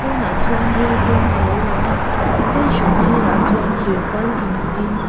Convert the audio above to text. pawnah chuan rail kawng alo langa station sirah chuan thir pal in hungin.